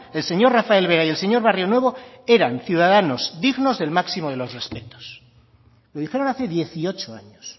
el señor rafael vera y el señor barrionuevo eran ciudadanos dignos del máximo de los respetos lo dijeron hace dieciocho años